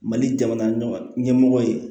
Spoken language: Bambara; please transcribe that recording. Mali jamana ɲɛmɔgɔ ɲɛmɔgɔ ye